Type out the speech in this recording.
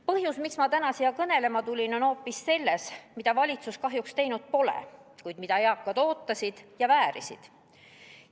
Põhjus, miks ma täna siia kõnelema tulin, on hoopis selles, mida valitsus kahjuks teinud pole, kuid mida eakad ootavad ja väärivad.